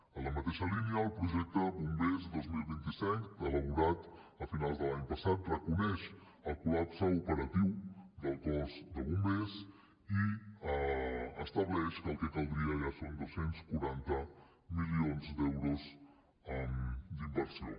en la mateixa línia el projecte bombers dos mil vint cinc elaborat a finals de l’any passat reconeix el col·lapse operatiu del cos de bombers i estableix que el que caldria ja són dos cents i quaranta milions d’euros d’inversió